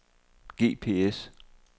GPS